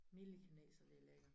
Milde kineser det lækkert